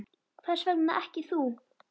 Hvers vegna ekki þú?